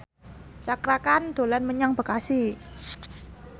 Cakra Khan dolan menyang Bekasi